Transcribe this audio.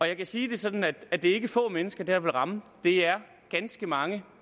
jeg kan sige det sådan at det er ikke få mennesker det her vil ramme det er ganske mange